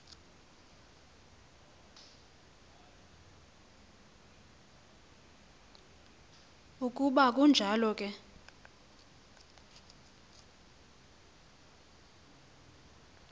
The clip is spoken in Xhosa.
ukuba kunjalo ke